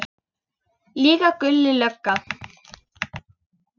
Líka Gulli lögga.